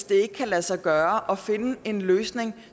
det kan lade sig gøre at finde en løsning